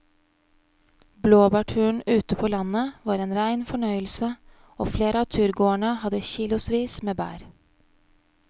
Blåbærturen ute på landet var en rein fornøyelse og flere av turgåerene hadde kilosvis med bær.